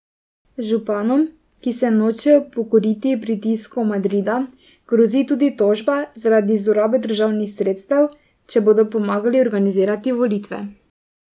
Županom, ki se nočejo pokoriti pritiskom Madrida, grozi tudi tožba zaradi zlorabe državnih sredstev, če bodo pomagali organizirati volitve.